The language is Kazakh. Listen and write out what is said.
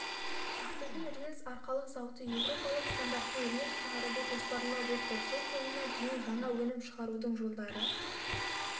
ақтөбе рельс-арқалық зауыты еуропалық стандартпен рельс шығаруды жоспарлап отыр жыл соңына дейін жаңа өнім шығарудың жолдары